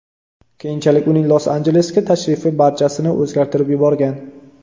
Keyinchalik uning Los-Anjelesga tashrifi barchasini o‘zgartirib yuborgan.